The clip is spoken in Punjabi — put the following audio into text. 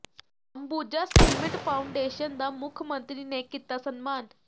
ਅੰਬੂਜਾ ਸੀਮਿੰਟ ਫਾਊਂਡੇਸ਼ਨ ਦਾ ਮੁੱਖ ਮੰਤਰੀ ਨੇ ਕੀਤਾ ਸਨਮਾਨ